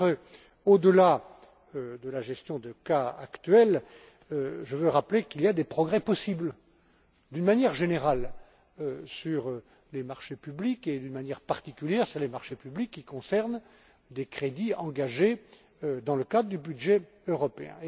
Mais, au delà de la gestion des cas actuels, je veux rappeler que des progrès sont possibles, d'une manière générale, sur les marchés publics et, d'une manière particulière, sur les marchés publics qui concernent des crédits engagés dans le cadre du budget européen.